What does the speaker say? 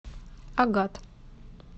агат